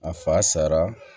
A fa sara